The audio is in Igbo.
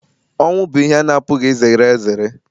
ọnwụ bụ ihe a na-apụghị izere ezere